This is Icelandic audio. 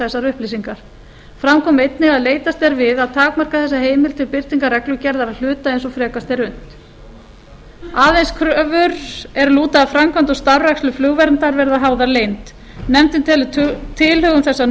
þessar upplýsingar fram kom einnig að leitast er við að takmarka þessa heimild til birtingar reglugerðar að hluta eins og frekast er unnt aðeins kröfur er lúta að framkvæmd og starfrækslu flugverndar verða háðar leynd nefndin telur tilhögun þessa